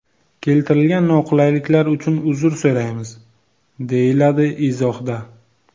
Keltirilgan noqulayliklar uchun uzr so‘raymiz”, deyiladi izohda.